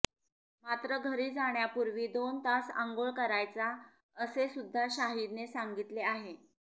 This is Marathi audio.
मात्र घरी जाण्यापूर्वी दोन तास अंघोळ करायचा असे सुद्धा शाहिदने सांगितले आहे